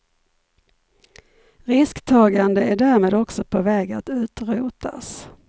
Risktagande är därmed också på väg att utrotas.